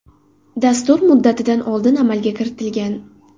Dastur muddatidan oldin amalga kiritilgan.